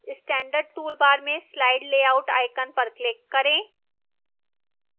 standard toolbar में slide layout icon पर click करें